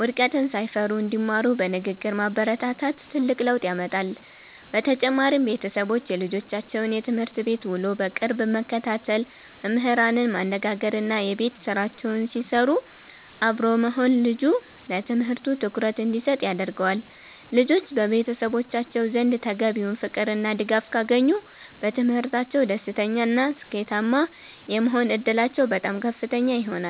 ውድቀትን ሳይፈሩ እንዲማሩ በንግግር ማበረታታት ትልቅ ለውጥ ያመጣል። በተጨማሪም፣ ቤተሰቦች የልጆቻቸውን የትምህርት ቤት ውሎ በቅርብ መከታተል፣ መምህራንን ማነጋገርና የቤት ስራቸውን ሲሰሩ አብሮ መሆን ልጁ ለትምህርቱ ትኩረት እንዲሰጥ ያደርገዋል። ልጆች በቤተሰቦቻቸው ዘንድ ተገቢውን ፍቅርና ድጋፍ ካገኙ፣ በትምህርታቸው ደስተኛና ስኬታማ የመሆን ዕድላቸው በጣም ከፍተኛ ይሆናል።